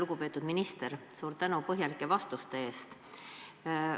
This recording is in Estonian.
Lugupeetud minister, suur tänu põhjalike vastuste eest!